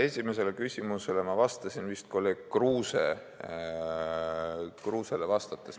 Esimesele küsimusele ma vastasin vist kolleeg Kruusele vastates.